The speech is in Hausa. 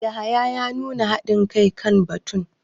Yahaya ya nuna hadin kai kan batun.